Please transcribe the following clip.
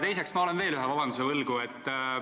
Teiseks, ma olen veel ühe vabanduse võlgu.